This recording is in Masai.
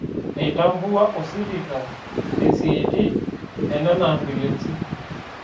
Eitambua osipika risiiti e nena ambiulensj